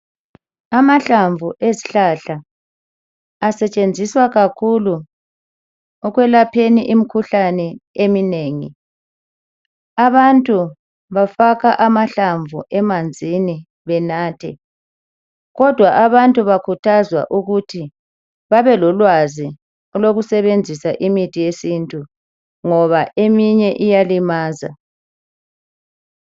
amahlamvu ezihlahla asetshenziswa kakhulu ekwlapheni imikhuhlane eminengi abantu bafaka amahlamvu amanzini benathe kodwa abantu bakhuthazwa ukuthi babelolwazi olokusebenzisa imithi yesintu ngoba eminye iyalimaza